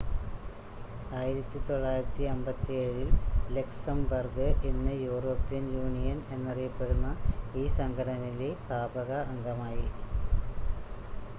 1957-ൽ Luxembourg ഇന്ന് European Union എന്നറിയപ്പെടുന്ന ഈ സംഘടനയിലെ സ്ഥാപക അംഗമായി